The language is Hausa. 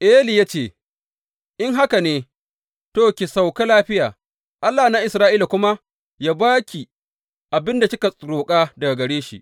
Eli ya ce, In haka ne, to, ki sauka lafiya, Allah na Isra’ila kuma yă ba ki abin da kika roƙa daga gare shi.